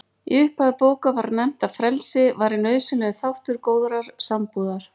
Í upphafi bókar var nefnt að frelsi væri nauðsynlegur þáttur góðrar sambúðar.